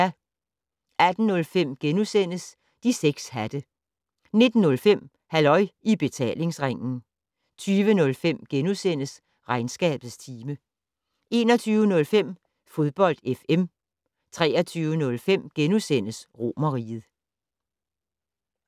18:05: De 6 hatte * 19:05: Halløj I Betalingsringen 20:05: Regnskabets time * 21:05: Fodbold FM 23:05: Romerriget *